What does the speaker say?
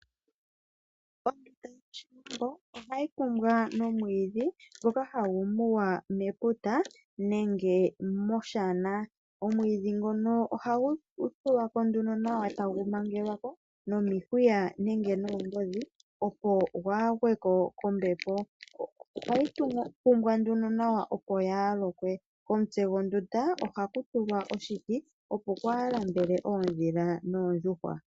Ondunda yOshiwambo ohayi kumbwa nomwiidhi ngoka hagu muwa meputa nenge moshana. Omwiidhi ngono ohagu tulwa ko nduno nawa tagu mangelwa ko nomihuya nenge noongodhi opo gwaagweko kombepo. Ohayi kumbwa nduno nawa opo yaalokwe. Komutse gwondunda ohaku tulwa oshiti opo kwaalambele oondhila noondjuhwa.